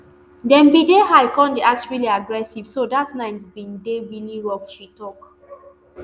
dem bin dey high kon dey act really aggressive so dat night bin dey really rough she tok